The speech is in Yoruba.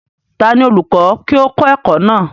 ta ni olùkọ́ kí ó kọ́ ẹ̀kọ́ náà?